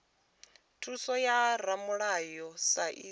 thuso ya ramulayo sa idzwo